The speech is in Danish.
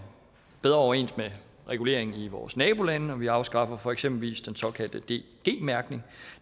bedre overens med regulering i vores nabolande vi afskaffer eksempelvis den såkaldte dg mærkning